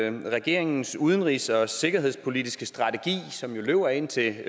ind til regeringens udenrigs og sikkerhedspolitiske strategi som jo løber indtil